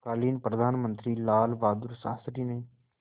तत्कालीन प्रधानमंत्री लालबहादुर शास्त्री ने